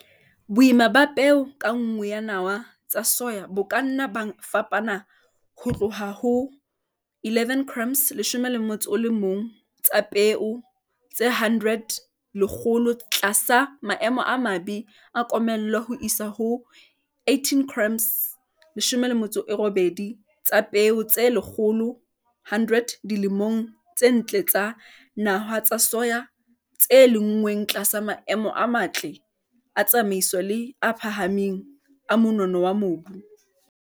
Boima ba peo ka nngwe ya nawa tsa soya bo ka nna ba fapana ho tloha ho 11 grams tsa peo tse 100 tlasa maemo a mabe a komello ho isa ho 18 grams tsa peo tse 100 dilemong tse ntle tsa nawa tsa soya tse lenngweng tlasa maemo a matle a tsamaiso le a phahameng a monono wa mobu.